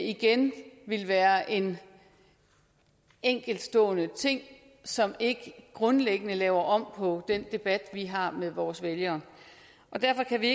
igen være en enkeltstående ting som ikke grundlæggende laver om på den debat vi har med vores vælgere og derfor kan vi